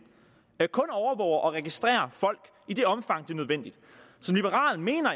kun overvåger og registrerer folk i det omfang er nødvendigt som liberal mener